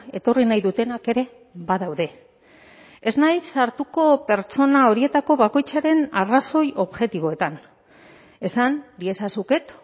etorri nahi dutenak ere badaude ez naiz sartuko pertsona horietako bakoitzaren arrazoi objektiboetan esan diezazuket